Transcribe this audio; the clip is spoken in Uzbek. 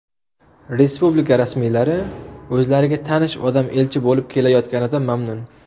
Respublika rasmiylari o‘zlariga tanish odam elchi bo‘lib kelayotganidan mamnun.